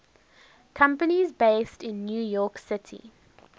companies based in new york city